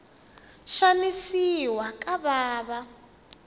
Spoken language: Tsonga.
xanisiwa ka vana